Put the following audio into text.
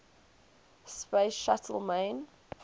space shuttle main